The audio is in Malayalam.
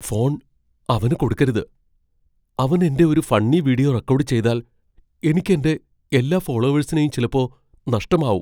ഫോൺ അവന് കൊടുക്കരുത്. അവൻ എന്റെ ഒരു ഫണ്ണി വീഡിയോ റെക്കോഡ് ചെയ്താൽ, എനിക്ക് എന്റെ എല്ലാ ഫോളോവേഴ്സിനെയും ചിലപ്പോ നഷ്ടമാവും.